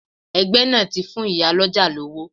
Ẹgbẹ́ náà ti fún ìyá lọ́jà lówó.